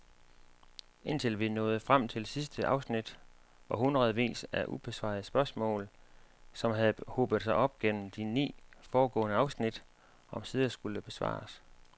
Indtil vi nåede frem til sidste afsnit, hvor hundredvis af ubesvarede spørgsmål, som havde hobet sig op gennem de ni foregående afsnit, omsider skulle besvares.